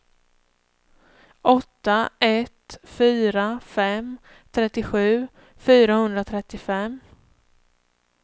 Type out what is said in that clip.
åtta ett fyra fem trettiosju fyrahundratrettiofem